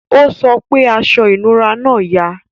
o sọ pé aṣọ inura náa yà